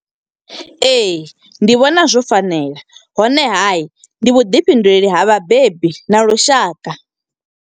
Ee, ndi vhona zwo fanela honeha, ndi vhuḓifhinduleli ha vhabebi na lushaka.